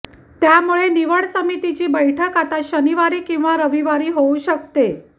त्यामुळे निवड समितीची बैठक आता शनिवारी किंवा रविवारी होऊ शकते